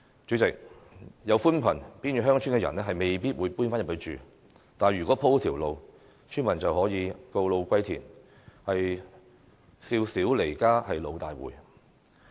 主席，即使鋪設寬頻，原住偏遠鄉村的人也未必會搬回鄉村內居住，但如果鋪設了道路，村民便可以告老歸田，"少小離家老大回"。